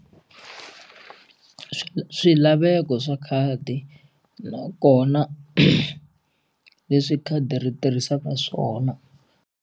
Swilaveko swa khadi nakona leswi khadi ri tirhisaka swona.